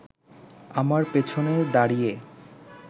আমার পেছনে দাঁড়িয়ে